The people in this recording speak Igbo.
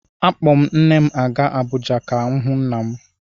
Akpọ m nne m a gaa Abụja ka ọ hụ nna m.